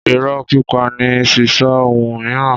Ìrọ́ pípa ni sísọ ohun miiran